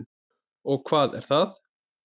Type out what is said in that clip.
Og hvað er það?